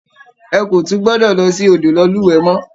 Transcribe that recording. Ẹ kò tún gbọdọ̀ lọ sí odò lọ lúwẹ̀ẹ́ mọ́!